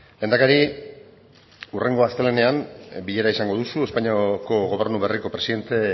lehendakari hurrengo astelehenean bilera izango duzu espainiako gobernu berriko presidente